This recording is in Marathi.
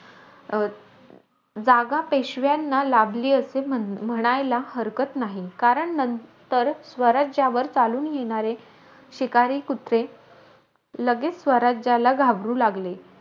अं जागा पेशव्यांना लाभली असे म्हण म्हणायला हरकत नाही. कारण, नंतर स्वराज्यावर चालून येणारे शिकारी कुत्रे लगेचं स्वराज्याला घाबरू लागले.